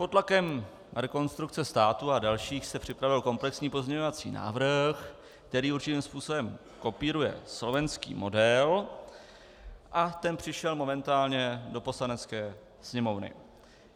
Pod tlakem Rekonstrukce státu a dalších se připravil komplexní pozměňovací návrh, který určitým způsobem kopíruje slovenský model, a ten přišel momentálně do Poslanecké sněmovny.